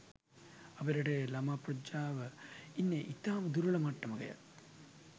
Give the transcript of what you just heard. අප රටේ ළමා ප්‍රජාව ඉන්නේ ඉතාම දුර්වල මට්ටමකය.